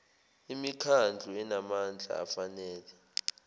imikhandlu enamandla afanele